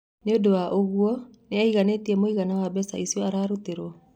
Nĩ ũndũ wa ũguo ... nĩ aiganĩte mũigana wa mbeca icio ararutĩrwo ?